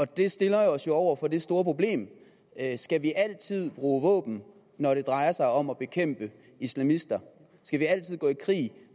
det stiller os jo over for det store problem skal vi altid bruge våben når det drejer sig om at bekæmpe islamister skal vi altid gå i krig